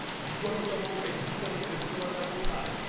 নিকটতম মেক্সিকান রেস্তরাঁটা কোথায়?